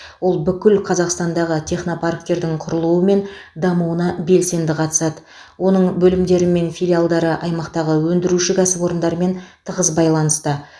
ол бүкіл қазақстандағы технопарктердің құрылуы мен дамуына белсенді қатысады оның бөлімдері мен филиалдары аймақтағы өндіруші кәсіпорындармен тығыз байланыста